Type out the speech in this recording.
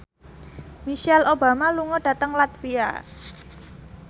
Michelle Obama lunga dhateng latvia